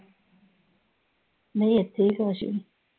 ਨਹੀਂ ਇਥੇ ਈ ਆ ਕਾਸ਼ ਵੀ।